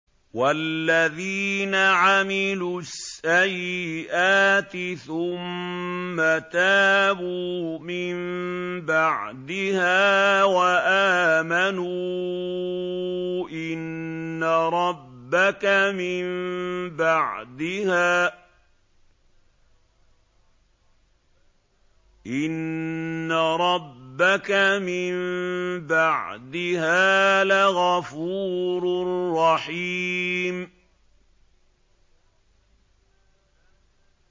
وَالَّذِينَ عَمِلُوا السَّيِّئَاتِ ثُمَّ تَابُوا مِن بَعْدِهَا وَآمَنُوا إِنَّ رَبَّكَ مِن بَعْدِهَا لَغَفُورٌ رَّحِيمٌ